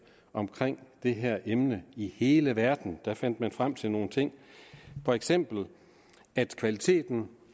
om det her emne i hele verden fandt frem til nogle ting for eksempel at kvaliteten